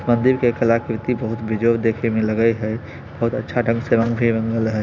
मंदिर के कलाकीर्ति बहुत बिजोड़ देखय में लगई हेयबहुत अच्छा ढंग से रंग हेय।